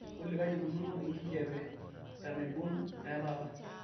olly kaji eikununo enkijiape tenaibon etaata